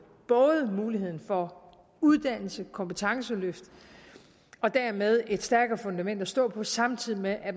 både mulighed for uddannelse kompetenceløft og dermed et stærkere fundament at stå på samtidig med at